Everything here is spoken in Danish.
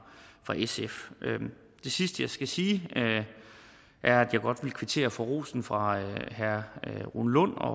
sf det sidste jeg skal sige er at jeg godt vil kvittere for rosen fra herre rune lund og